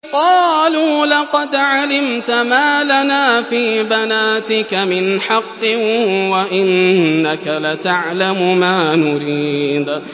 قَالُوا لَقَدْ عَلِمْتَ مَا لَنَا فِي بَنَاتِكَ مِنْ حَقٍّ وَإِنَّكَ لَتَعْلَمُ مَا نُرِيدُ